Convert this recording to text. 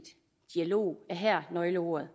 dialog er her nøgleordet